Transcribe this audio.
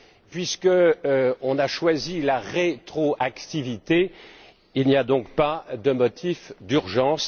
Puisqu'on a choisi la rétroactivité, il n'y a donc pas de motif d'urgence.